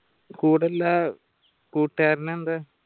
കൂടള്ള കൂട്ടുകാരൻ എന്ത്